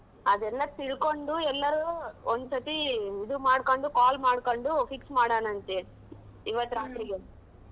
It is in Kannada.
ಅದೆಲ್ಲಾ ತಿಳ್ಕೊಂಡು ಎಲ್ಲರು ಒಂದ್ ಸತಿ ಇದು ಮಾಡ್ಕೊಂಡು call ಮಾಡ್ಕೊಂಡು fix ಮಾಡನ ಅಂತೆ ಇವತ್ತ್ ರಾತ್ರಿಗೆ .